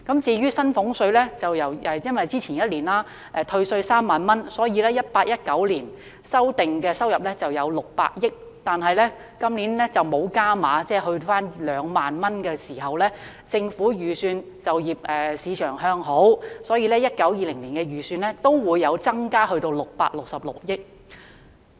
至於薪俸稅，由於去年退稅3萬元，故此 2018-2019 年度修訂收入為600億元，但本年度並沒有"加碼"，只退稅2萬元，加上政府預算就業市場向好，故此在 2019-2020 年度的預算亦增至666億元。